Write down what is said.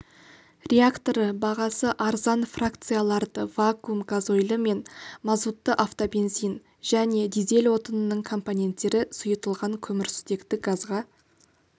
реакторы бағасы арзан фракцияларды вакуум газойлі мен мазутты автобензин және дизель отынының компоненттері сұйытылған көмірсутекті газға